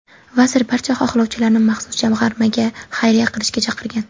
Vazir barcha xohlovchilarni maxsus jamg‘armaga xayriya qilishga chaqirgan.